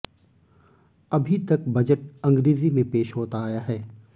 अभी तक बजट अंग्रेजी में पेश होता आया है